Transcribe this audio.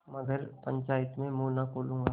मगर पंचायत में मुँह न खोलूँगा